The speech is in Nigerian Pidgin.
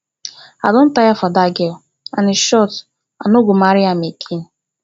i don tire for dat girl and in short i no go marry am again